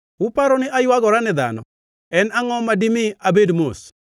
“Uparo ni aywagora ne dhano? En angʼo ma dimi abed mos?